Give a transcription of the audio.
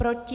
Proti?